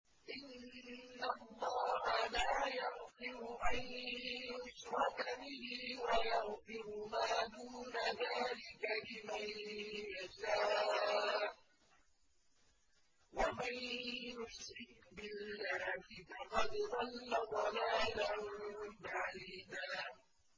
إِنَّ اللَّهَ لَا يَغْفِرُ أَن يُشْرَكَ بِهِ وَيَغْفِرُ مَا دُونَ ذَٰلِكَ لِمَن يَشَاءُ ۚ وَمَن يُشْرِكْ بِاللَّهِ فَقَدْ ضَلَّ ضَلَالًا بَعِيدًا